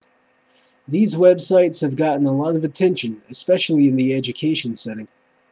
these websites have gotten a lot of attention especially in the education setting